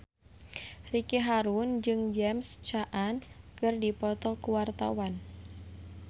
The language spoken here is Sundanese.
Ricky Harun jeung James Caan keur dipoto ku wartawan